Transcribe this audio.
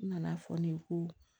N nana fɔ ne ko